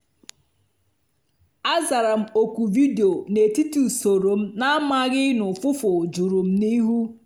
a zara m oku vidio n’etiti usoro m na-amaghị na ufụfụ juru m n’ihu.